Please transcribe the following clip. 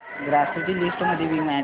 grocery list मध्ये Vim add कर